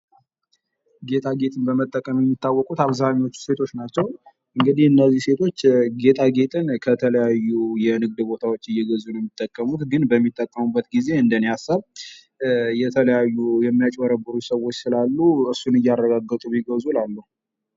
ጌጣጌጥ በመጠቀም የሚታወቁት አብዛኞቹ ሴቶች ናቸው። እንግዲህ እነዚህ ሴቶች ጌጣጌጥ ከተለያዩ የንግድ ቦታዎች እየገዙ የሚጠቀሙት፤ ግን በሚጠቀሙበት ጊዜ እንደኔ ሃሳብ የተለያዩ የሚያጭቦረቡሩ ሰዎች ስላሉ እሱን እያረጋገጡ ቢገዙ እላለሁ።